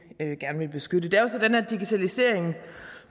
gerne vil beskytte det er jo sådan at digitalisering